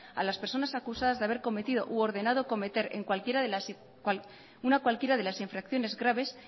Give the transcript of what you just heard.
a las personas acusadas de haber cometido u ordenado cometer una cualquiera de las infracciones graves